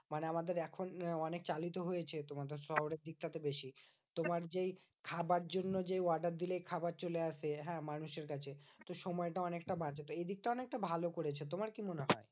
মানে আমাদের এখন অনেক চালিত হয়েছে তোমাদের শহরের দিকটা তে বেশি। তোমার যেই খাবার জন্য যেই order দিলেই খাবার চলে আসে হ্যাঁ? মানুষের কাছে। তো সময়টা অনেকটা বাঁচে। তো এই দিকটা অনেকটা ভালো করেছে। তোমার কি মনে হয়?